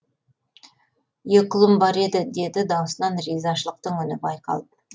екі ұлым бар еді деді даусынан ризашылықтың үні байқалып